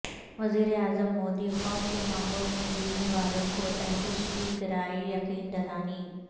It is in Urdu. وزیراعظم مودی خوف کے ماحول میں جینے والوں کو تحفظ کی کرائیں یقین دہانی